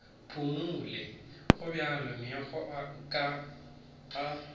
phumole gobjalo megokgo ka a